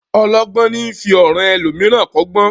Ọlọ́gbọ́n ni í fi ọ̀ràn elòmíràn kọ́gbọ́n